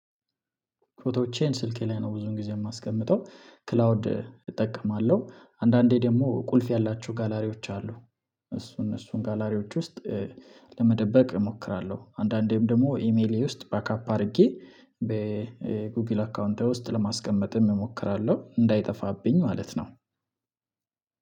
ፎቶዎቼን ስልኬ ላይ ነው ብዙን ጊዜ የማስቀምጠው ክላውድ እጠቀማለሁ አንዳንዴ ደግሞ ቁልፍ ያላችሁ ጋላሪዎች አሉ እሱን እነሱን ጋላሪዎች ውስጥ ለመደበቅ እሞክራለሁ። አንዳንዴም ደግሞ ኢሜይሌ ውስጥ ባካፕ አድርጌ በጉግል አካውንታዊ ውስጥ ለማስቀመጥም እሞክራለሁ እንዳይጠፋብኝ ማለት ነው።